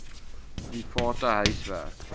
private huis werk